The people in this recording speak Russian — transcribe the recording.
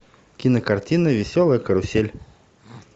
кинокартина веселая карусель